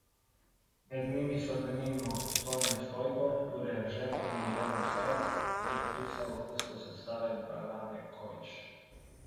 Med njimi so denimo Tone Stojko, Jure Eržen in Irena Herak, je zapisal kustos razstave Brane Kovič.